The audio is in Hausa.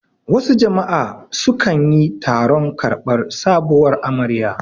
Wasu jama'a su kanyi taron karbar sabuwar amarya